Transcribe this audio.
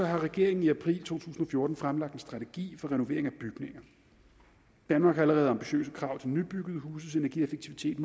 har regeringen i april to tusind og fjorten fremlagt en strategi for renovering af bygninger danmark har allerede ambitiøse krav til nybyggede huses energieffektivitet